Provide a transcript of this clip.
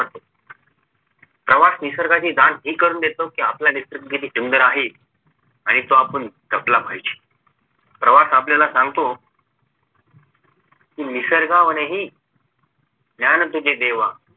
प्रवास निसर्गाची हि जाण करून देतो कि आपला निसर्ग किती सुंदर आहे आणि तो आपण जपला पाहिजे प्रवास आपल्याला सांगतो कि निसर्गाहूनही ज्ञान तुझे देवा